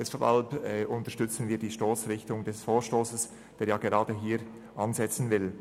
Deshalb unterstützen wir die Stossrichtung des Vorstosses, der gerade hier ansetzen will.